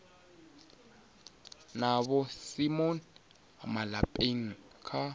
na vho simon malepeng kha